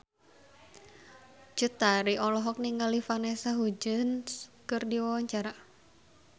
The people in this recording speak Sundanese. Cut Tari olohok ningali Vanessa Hudgens keur diwawancara